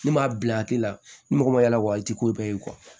Ne m'a bila a tɛ la ni mɔgɔ ma yala wa i tɛ ko bɛɛ ye